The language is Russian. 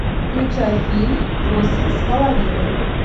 включай фильм восемь с половиной